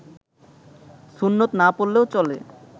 সুন্নত না পড়লেও চলে